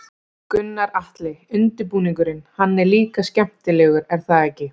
Gunnar Atli: Undirbúningurinn, hann er líka skemmtilegur er það ekki?